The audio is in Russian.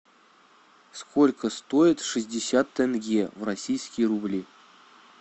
сколько стоит шестьдесят тенге в российские рубли